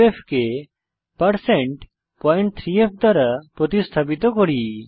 2f কে 3f দ্বারা প্রতিস্থাপিত করি